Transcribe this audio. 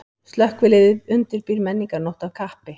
Slökkviliðið undirbýr menningarnótt af kappi